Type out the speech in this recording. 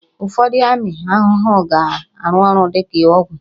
Ụfọdụ ụmụ ahụhụ ga-arụ ọrụ dị ka ọgwụ